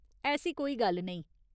ऐसी कोई गल्ल नेईं।